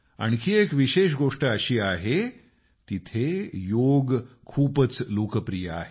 आणखी एक विशेष गोष्ट अशी आहे तिथे योग खूपच लोकप्रिय आहे